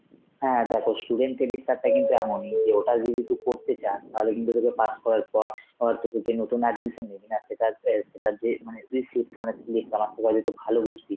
হ্যাঁ দেখো, student credit card টা কিন্তু এমনই যে ওটা যদি তুই করতে চাস তাহলে কিন্তু তোকে pass করার পর~ পর তোকে যে নতুন admission নিবিনা সেটার~ অ্যাঁ সেটা যে মানে receipt মানে slip আনা তোরা যেহেতু ভালো বুঝবি,